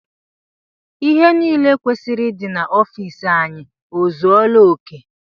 Ihe niile kwesịrị ịdị n'ofici anyị ọ zuela oké?